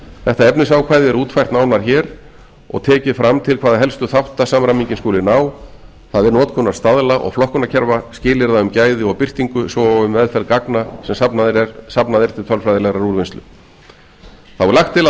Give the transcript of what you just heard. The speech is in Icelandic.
þetta efnisákvæði er útfært nánar hér og tekið fram til hvaða helstu þátta samræmingin skuli ná það er notkunar staðla og flokkunarkerfa skilyrða um gæði og birtingu svo og um meðferð gagna sem safnað er til tölfræðilegrar úrvinnslu þá er lagt til að